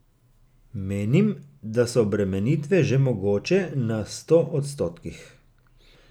Menim, da so obremenitve že mogoče na sto odstotkih.